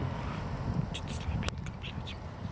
ох что-то слабенько блять